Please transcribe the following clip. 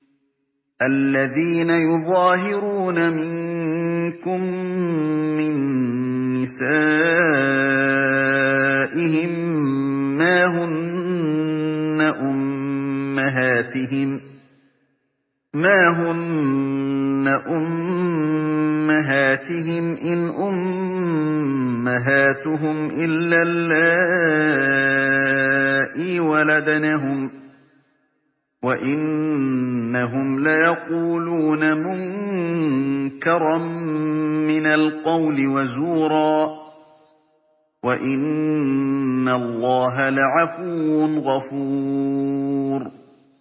الَّذِينَ يُظَاهِرُونَ مِنكُم مِّن نِّسَائِهِم مَّا هُنَّ أُمَّهَاتِهِمْ ۖ إِنْ أُمَّهَاتُهُمْ إِلَّا اللَّائِي وَلَدْنَهُمْ ۚ وَإِنَّهُمْ لَيَقُولُونَ مُنكَرًا مِّنَ الْقَوْلِ وَزُورًا ۚ وَإِنَّ اللَّهَ لَعَفُوٌّ غَفُورٌ